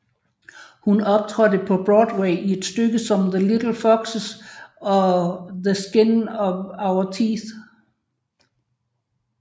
Hun optrådte på Broadway i stykker som The Little Foxes og The Skin of Our Teeth